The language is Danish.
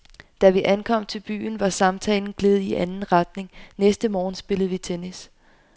Da vi ankom til byen, var samtalen gledet i anden retning. Næste morgen spillede vi tennis.